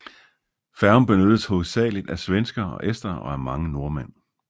Færgen benyttedes hovedsageligt af svenskere og estere og af mange nordmænd